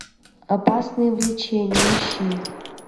опасное влечение ищи